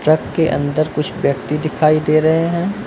Truck के अंदर कुछ व्यक्ति दिखाई दे रहे हैं।